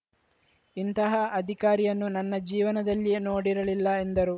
ಇಂತಹ ಅಧಿಕಾರಿಯನ್ನು ನನ್ನ ಜೀವನದಲ್ಲಿಯೇ ನೋಡಿರಲಿಲ್ಲ ಎಂದರು